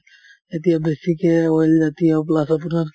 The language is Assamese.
এতিয়া বেছিকে oil জাতীয় plus আপোনাৰ